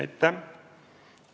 Aitäh!